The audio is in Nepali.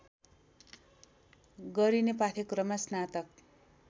गरिने पाठ्यक्रममा स्नातक